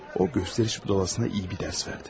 O göstəriş budalasına yaxşı bir dərs verdim.